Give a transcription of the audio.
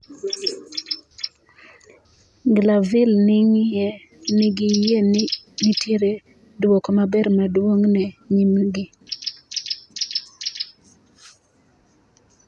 Glanville nigiyie ni nitie duoko maber maduong' e nyimgi.